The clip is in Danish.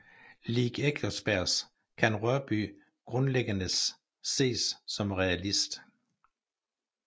Lig Eckersberg kan Rørbye grundlæggendes ses som realist